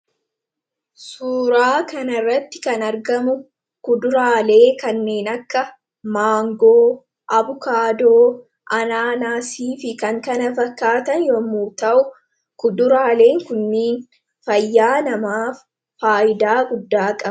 Suuraa kana irratti kan argamu kuduraalee kanneen akka maangoo abukaadoo anaanaasii fi kan kana fakkaatan yommu ta'u kuduraaleen kunniin fayyaa namaaf faayidaa guddaa qabu.